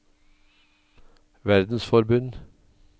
verdensforbund